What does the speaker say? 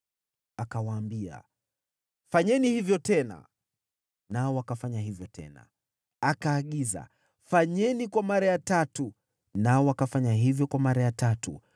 Akawaambia, “Fanyeni hivyo tena.” Nao wakafanya hivyo tena. Akaagiza, “Fanyeni kwa mara ya tatu.” Nao wakafanya hivyo kwa mara ya tatu.